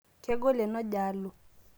kegol enoojaluu